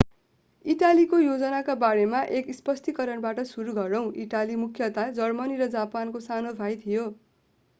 इटालीको योजनाका बारेमा एक स्पष्टीकरणबाट सुरू गरौं इटाली मुख्यतया जर्मनी र जापानको सानो भाई थियो